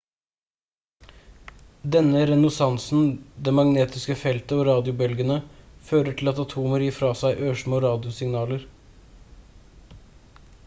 denne resonansen det magnetiske feltet og radiobølgene fører til at atomer gir fra seg ørsmå radiosignaler